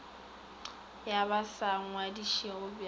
ba ba sa ngwadišwego bj